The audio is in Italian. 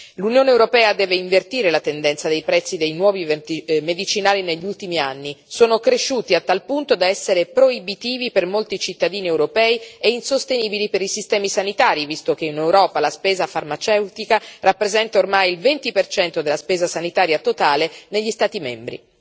L'Unione europea deve invertire la tendenza dei prezzi dei nuovi medicinali negli ultimi anni sono cresciuti a tal punto da essere proibitivi per molti cittadini europei e insostenibili per i sistemi sanitari, visto che in Europa la spesa farmaceutica rappresenta ormai il 20 della spesa sanitaria totale negli Stati membri.